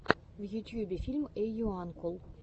в ютьюбе фильм эйуанкул